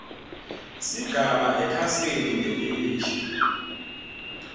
sigaba ekhasini lelisha